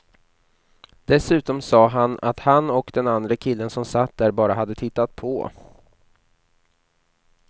Dessutom sa han att han och den andre killen som satt där bara hade tittat på.